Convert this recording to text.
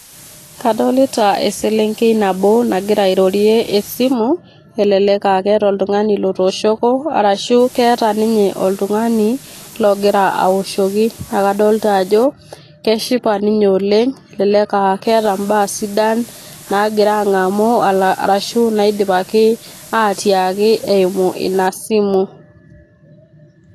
Kadolita eselenkei nabo nagira airorie esimu , kelelek aa keeta oltungani lotooshoko ashu keeta ninye logira aoshoki ,naa kadolta ajo keshipa ninye oleng ,elelek aa keeta imbaa sidan nagira angamuashu naidipaki atiaaki eimu ina simu.